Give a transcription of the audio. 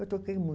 Eu toquei muito.